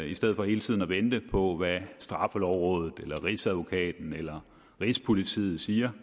i stedet for hele tiden at vente på hvad straffelovrådet rigsadvokaten eller rigspolitiet siger